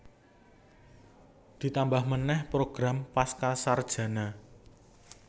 Ditambah manèh program Pascasarjana